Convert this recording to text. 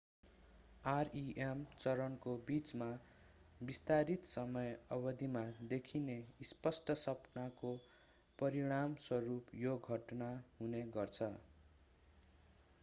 rem चरणको बिचमा विस्तारित समय अवधिमा देखिने स्पष्ट सपनाको परिणामस्वरूप यो घटना हुने गर्छ